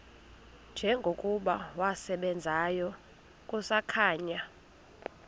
njengokuba wasebenzayo kusakhanya